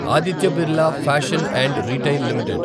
Aditya Birla fashion and retail limited